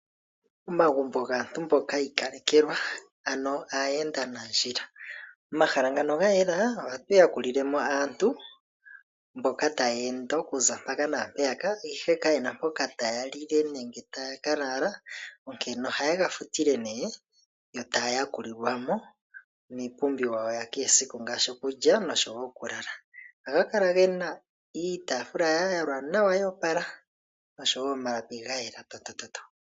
Omagumbo gaantu mboka yi ikalekelwa ano aayenda nandjila. Omahala ngano ga yela ohatu ya kulilemo aantu mboka taya ende okuza mpaka naampeyaka ihe kayena mpoka taya lile nenge taya kalala ,onkene oha yega futile nee yo taya yakulilwamo ,niipumbiwa yawo yakehe esiku ngaashi okulya oshowo okulala. Ohaya kala gena iitaafula yayela yo opala oshowo omalapi gayela omatokele.